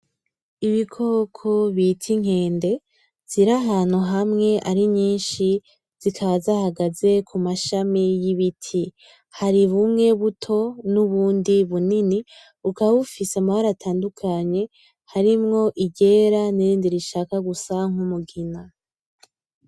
ibikoko bita inkende ziri ahantu hamwe ari nyishi zikaba zahagaze k'umashami y'ibiti hari bumwe buto n'ubundi bunini bukaba bufise amabara atandukanye harimwo iryera n'irindi rishaka gusa nk'umugina.